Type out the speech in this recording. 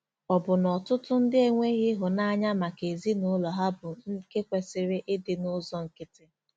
Ọ̀ bụ na ọtụtụ ndị enweghị ịhụnanya maka ezinụlọ ha bụ́ nke kwesịrị ịdị n'ụzọ nkịtị?